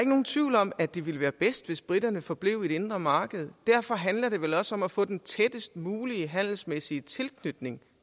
nogen tvivl om at det ville være bedst hvis briterne forblev i det indre marked derfor handler det vel også om at få den tættest mulige handelsmæssige tilknytning